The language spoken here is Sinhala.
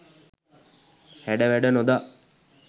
හැඩ වැඩ නොදා